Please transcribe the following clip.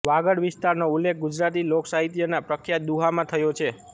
વાગડ વિસ્તારનો ઉલ્લેખ ગુજરાતી લોકસાહિત્યના પ્રખ્યાત દુહામાં થયો છે